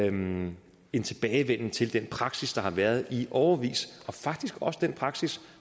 en en tilbagevenden til den praksis der har været i årevis og faktisk også til den praksis